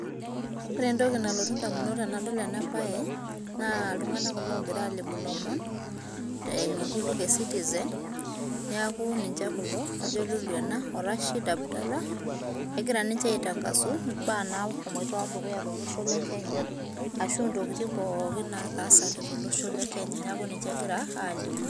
Ore entoki nalotu indamunot tenadol enabae, naa iltung'anak kulo ogira alimu ilomon, eimu enkutuk e citizen, neeku ninche kulo, kajo Lulu ena o Rashid Abdalla, egira ninche aitangasu imbaa nahomoita dukuya tolosho le Kenya, ashu intokiting pookin nataasate tolosho le Kenya. Neeku ninche egira alimu.